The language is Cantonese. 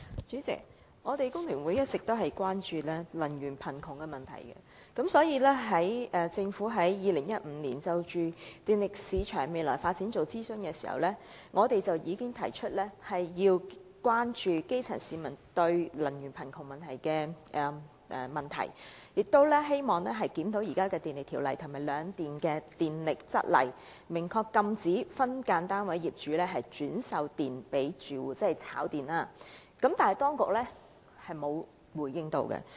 主席，工聯會一直關注"能源貧窮"的問題，政府在2015年就電力市場未來發展進行諮詢時，已提出要關注基層市民的"能源貧窮"問題，希望藉檢討現時的《電力條例》及兩電的《供電則例》，明確禁止分間樓宇單位業主轉售電力給租戶，即"炒電"，但當局並無回應。